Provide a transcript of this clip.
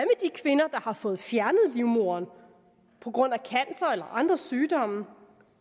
har fået fjernet livmoderen på grund af cancer eller andre sygdomme